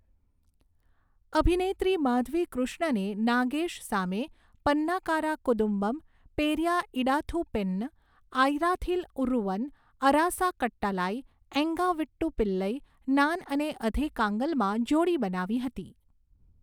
અભિનેત્રી માધવી કૃષ્ણને નાગેશ સામે પન્નાકારા કુદુમ્બમ, પેરિયા ઇડાથુ પેન્ન, આયરાથિલ ઉરૂવન, અરાસા કટ્ટાલાઈ, એન્ગા વીટ્ટૂ પિલ્લઈ, નાન અને અધે કાંગલમાં જોડી બનાવી હતી.